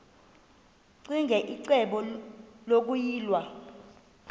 ccinge icebo lokuyilwa